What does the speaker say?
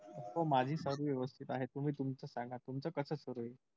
हो माझी सर्व व्यवस्थित आहे. तुम्ही तुमचं सांगा तुमचं कसं सुरु आहे?